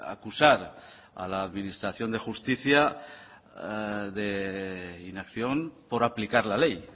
acusar a la administración de justicia de inacción por aplicar la ley